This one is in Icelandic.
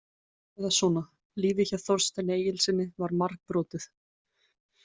Eða svona: Lífið hjá Þorsteini Egilssyni var margbrotið.